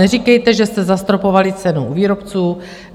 Neříkejte, že jste zastropovali cenu u výrobců.